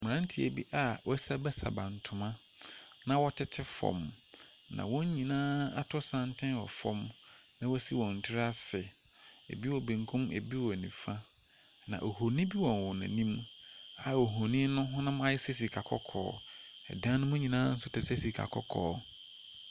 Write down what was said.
Mmeranteɛ bi a wɔasiabasiaba ntoma na wɔtete fam, na wɔn nyinaa ato santene wɔ fam na wɔasi wɔn tiri ase. Bi wɔ benkum. Bi wɔ nifa, na honin bi wɔ wɔn anim a honin no honam ayɛ sɛ sikakɔkɔɔ. Ɛdan no mu nyinaa nso te sɛ sikakɔkɔɔ.